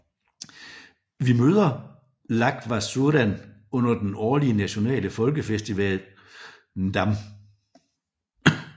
Vi møder Lhagvasuren under den årlige nationale folkefestival Ndam